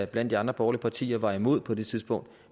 blandt de andre borgerlige partier var imod på det tidspunkt